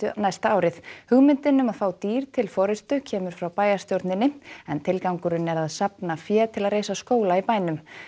næsta árið hugmyndin um að fá dýr til forystu kemur frá bæjarstjórninni en tilgangurinn er að safna fé til að reisa skóla í bænum